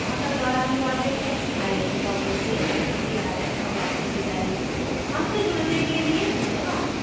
यह स्क्रिप्ट प्रभाकर द्वारा अनुवादित है आई आई टी बॉम्बे से मैं श्रुति आर्य अब आपसे विदा लेती हूँ हमसे जुड़ने के लिए धन्यवाद